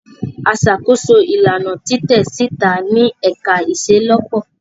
A ṣakoso ilana titẹ sita ni ẹka iṣelọpọ.